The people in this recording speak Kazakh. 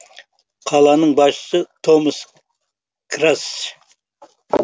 қаланың басшысы томас крацш